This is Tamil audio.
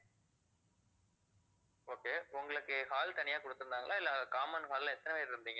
okay உங்களுக்கு hall தனியா கொடுத்திருந்தாங்களா இல்லை common hall ல எத்தனை பேர் இருந்தீங்க